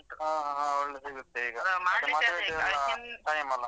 ಹ ಹಾ ಒಳ್ಳೆ ಸಿಗುತ್ತೆ ಈಗ, ಈಗ ಮದ್ವೆದೆಲ್ಲ time ಅಲ.